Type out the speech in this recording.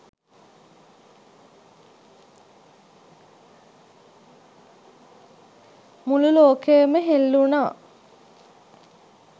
මුළු ලෝකයම හෙල්ලුනා